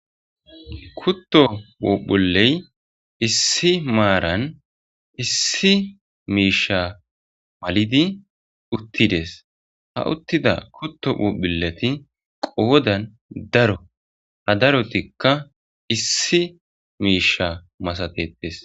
Kuto phuphuleyi issi maranni issi mishsha maliddi uttides.haa uttida kuto phuphuleti qodanni daro ha darotikka issi mishsha masatetees.